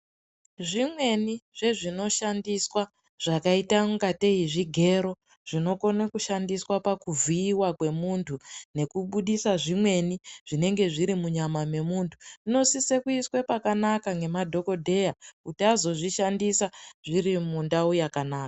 Zvimweni zvezvinoshandiswa zvakaita ungatei zvigero, zvinokone kushandiswa pakuvhiiwa kwemunthu, nekubudisa zvimweni, zvinenge zviri munyama memuntu ,zvinosise kuiswe pakanaka ngemadhokodheya, kuti azozvishandisa zviri mundau yakanaka.